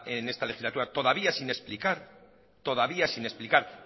en esta legislatura todavía sin explicar